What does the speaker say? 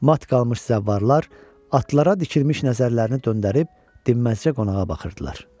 Mat qalmış zəvvarlar atlılara dikilmiş nəzərlərini döndərib dinməzcə qonağa baxırdılar.